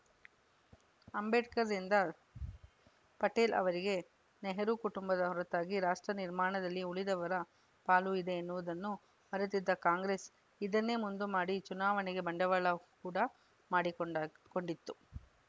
ಅಂಬೇಡ್ಕರ್‌ರಿಂದ ಪಟೇಲ್ ಅವರಿಗೆ ನೆಹರು ಕುಟುಂಬದ ಹೊರತಾಗಿ ರಾಷ್ಟ್ರ ನಿರ್ಮಾಣದಲ್ಲಿ ಉಳಿದವರ ಪಾಲು ಇದೆ ಎನ್ನುವುದನ್ನು ಮರೆತಿದ್ದ ಕಾಂಗ್ರೆಸ್‌ ಇದನ್ನೇ ಮುಂದುಮಾಡಿ ಚುನಾವಣೆಗೆ ಬಂಡವಾಳ ಕೂಡ ಮಾಡಿಕೊಂಡ ಕೊಂಡಿತ್ತು